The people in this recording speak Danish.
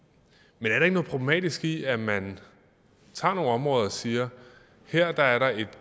men er der ikke noget problematisk i at man tager nogle områder og siger at her er der et